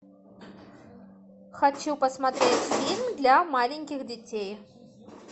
хочу посмотреть фильм для маленьких детей